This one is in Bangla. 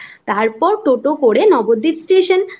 তারপর টোটো করে নবদ্বীপ স্টেশন তারপর